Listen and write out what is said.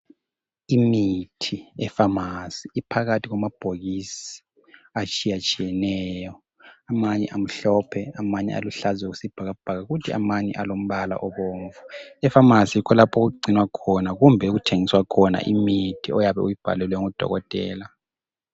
Imithi ePharmacy iphakathi kwamabhokisi atshiyetshiyeneyo. Amanye amhlophe amanye aluhlaza okwesibhakabhaka kuthi amanye alombala obomvu. EPharmacy yikho lapho okugcinwa khona kumbe okuthengiswa khona imithi oyabe uyibhalelwe ngodokotela.